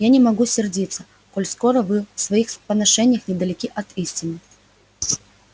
я не могу сердиться коль скоро вы в своих поношениях недалеки от истины